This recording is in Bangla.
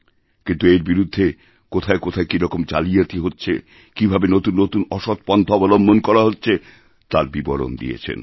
কিন্তু এর বিরুদ্ধে কোথায় কোথায় কীরকম জালিয়াতি হচ্ছে কীভাবে নতুন নতুন অসৎপন্থা অবলম্বন করা হচ্ছে তার বিবরণ দিয়েছেন